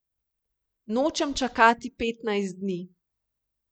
Nočem čakati petnajst dni.